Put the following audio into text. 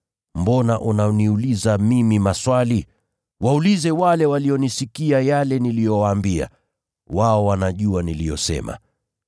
Mbona unaniuliza mimi maswali? Waulize wale walionisikia yale niliyowaambia. Wao wanajua niliyosema.”